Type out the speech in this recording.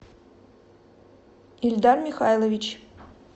ильдар михайлович